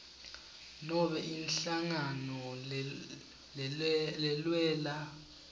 nobe inhlangano lelwela